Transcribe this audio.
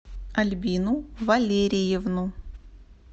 альбину валериевну